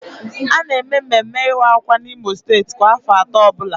A na eme mmemme ịwa akwa n'Imo steeti kwa afọ atọ ọbụla